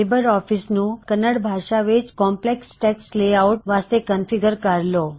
Libre office ਨੂੰ ਕੰਨੜ ਭਾਸ਼ਾ ਵਿੱਚ ਕੌਮਪਲੈੱਕਸ ਟੈੱਕਸਟ ਲੇਆਉਟ ਵਾਸਤੇ ਕਨ੍ਫਿਗ੍ਰਰ ਕਰ ਲੋ